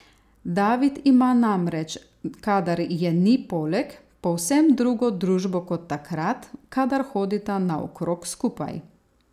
David ima namreč, kadar je ni poleg, povsem drugo družbo kot takrat, kadar hodita naokrog skupaj.